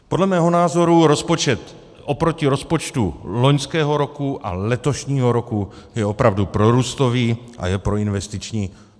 Podle mého názoru rozpočet oproti rozpočtu loňského roku a letošního roku je opravdu prorůstový a je proinvestiční.